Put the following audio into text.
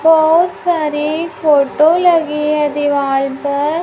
बहोत सारी फोटो लगी है दीवाल पर।